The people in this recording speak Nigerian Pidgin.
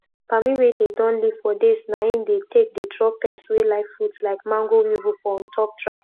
palmi wey dey don leave for days na im dey take dey draw pest wey like fruit like mango weevil for ontop traps